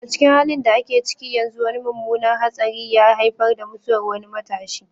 A cikin halin da ake ciki yanzu, wani mummunan hatsari ya haifar da mutuwar wani matashi,